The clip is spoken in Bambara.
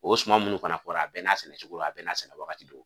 O suman munnu fana fɔra a bɛn n'a sigi cogo a bɛɛ n' a sigi wagati.